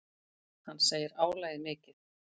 Hann segir álagið mikið.